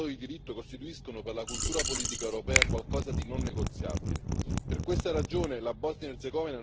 Da sempre i fondamenti dello Stato di diritto costituiscono per la cultura politica europea qualcosa di non negoziabile.